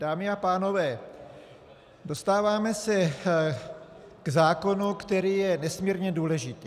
Dámy a pánové, dostáváme se k zákonu, který je nesmírně důležitý.